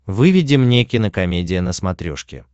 выведи мне кинокомедия на смотрешке